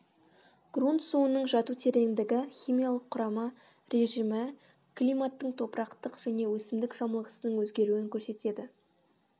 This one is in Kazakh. грунт суының жату тереңдігі химиялық кұрамы режімі климаттың топырақтың және өсімдік жамылғысының озгеруін көрсетеді